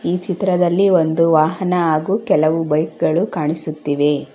ಈ ಚಿತ್ರದಲ್ಲಿ ಒಂದು ವಾಹನ ಹಾಗು ಕೆಲವು ಬೈಕ್ ಗಳು ಕಾಣಿಸುತ್ತಿವೆ.